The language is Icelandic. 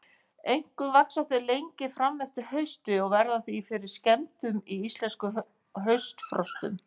Einkum vaxa þau lengi fram eftir hausti og verða því fyrir skemmdum í íslenskum haustfrostum.